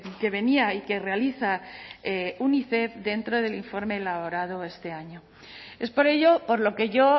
que venía y que realiza unicef dentro del informe elaborado este año es por ello por lo que yo